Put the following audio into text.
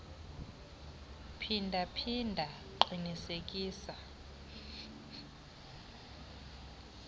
phinda phinda qinisekisa